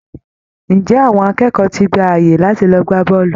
Ǹjẹ́ àwọn akẹ́kọ̀ọ́ ti gba àyè láti lọ gbá bọ́ọ̀lù!